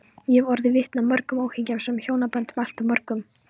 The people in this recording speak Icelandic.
Ég hef orðið vitni að mörgum óhamingjusömum hjónaböndum, alltof mörgum.